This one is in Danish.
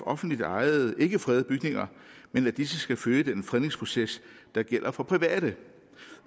offentligt ejede ikke fredede bygninger men at disse skal følge den fredningsproces der gælder for private